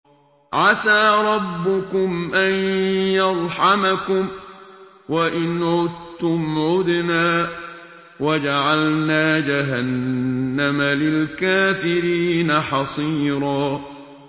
عَسَىٰ رَبُّكُمْ أَن يَرْحَمَكُمْ ۚ وَإِنْ عُدتُّمْ عُدْنَا ۘ وَجَعَلْنَا جَهَنَّمَ لِلْكَافِرِينَ حَصِيرًا